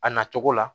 A nacogo la